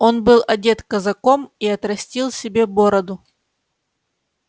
он был одет казаком и отрастил себе бороду